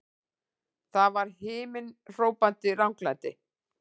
Það var himinhrópandi ranglæti!